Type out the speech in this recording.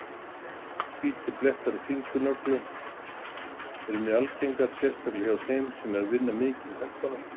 Hvítir blettir á fingurnöglum eru mjög algengir, sérstaklega hjá þeim sem vinna mikið með höndunum.